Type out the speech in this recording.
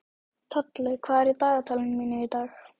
Tolli, hvað er í dagatalinu mínu í dag?